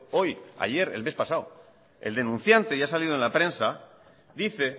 hoy ayer el mes pasado el denunciante y ha salido en la prensa dice